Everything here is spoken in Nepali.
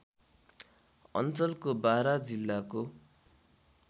अञ्चलको बारा जिल्लाको